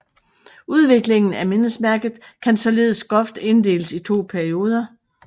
Udviklingen af mindesmærket kan således groft inddeles i to perioder